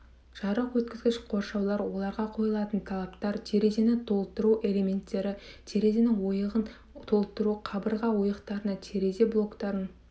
жарық өткізгіш қоршаулар оларға қойылатын талаптар терезені толтыру элементтері терезе ойығын толтыру қабырға ойықтарына терезе блоктарын